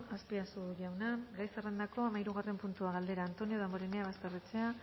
azpiazu jauna gai zerrendako hamahirugarren puntua galdera antonio damborenea basterrechea